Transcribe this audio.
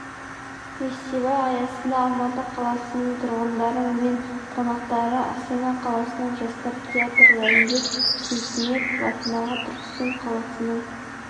фестиваль аясында алматы қаласының тұрғындары мен қонақтары астана қаласының жастар театры райымбек сейтметов атындағы түркістан қаласының